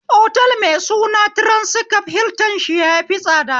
Otal mai suna tiransikof hiltan shi yafi tsada